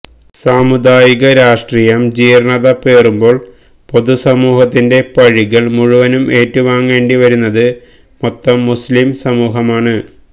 സാമുദായിക രാഷ്ട്രീയം ജീര്ണ്ണത പേറുമ്പോള് പൊതുസമൂഹത്തിന്റെ പഴികള് മുഴുവന് ഏറ്റുവാങ്ങേണ്ടിവരുന്നത് മൊത്തം മുസ്ലിം സമൂഹമാണ്